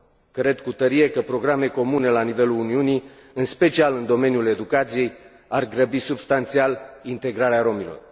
Cred cu tărie că programe comune la nivelul Uniunii, în special în domeniul educației, ar grăbi substanțial integrarea rromilor.